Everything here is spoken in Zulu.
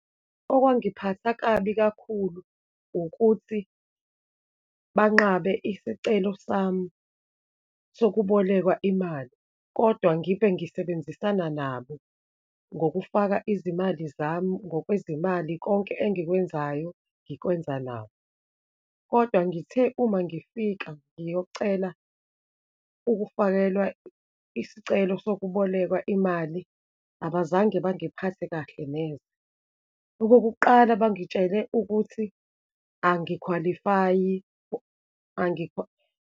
Okwangiphatha kabi kakhulu, ukuthi banqabe isicelo sami sokubolekwa imali, kodwa ngibe ngisebenzisana nabo, ngokufaka izimali zami, ngokwezimali, konke engikwenzayo, ngikwenza nabo. Kodwa ngithe uma ngifika ngiyocela ukufakelwa isicelo sokubolekwa imali, abazange bangiphathe kahle neze. Okokuqala, bangitshele ukuthi angikhwalifayi, .